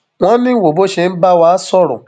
wọn ní wo bó ṣe ń bá wa sọrọ